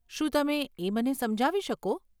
શું તમે એ મને સમજાવી શકો?